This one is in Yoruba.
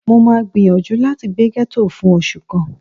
Mó máa gbìyànjú láti gbé gẹ́tò fún oṣù kan